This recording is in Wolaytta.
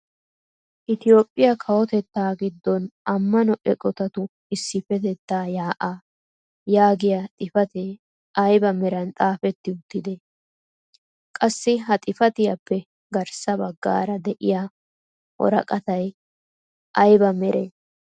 "Itoophphiyaa kawotettaa giddon ammano eqotatu issipettaa yaa'aa" yaagiyaa xifatee ayba meran xaafetti uttide? qassi ha xifatiyappe garssa baggaara de'iyaa woraqatay aybe meree?